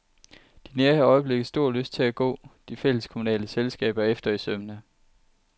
De nærer i øjeblikket stor lyst til at gå de fælleskommunale selskaber efter i sømmene.